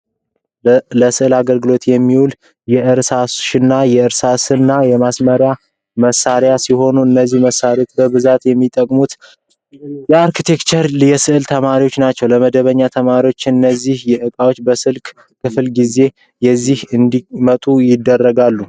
ለስዕል አገልግሎት የሚውል የእርሳሽና የእርሳስና የማስመራር መሳሪያዎች ሲሆኑ እነዚህን መሣሪያዎች በብዛት የሚጠቀሙዋቸው የአርክቴክቸርና የስዕል ተማሪዎች ናቸው። ለመደበኛ ተማሪዎችን እነዚህን እቃዎች በስልክ ክፍለጊዜ ይዘው እንዲመጡ ይገደዳሉ።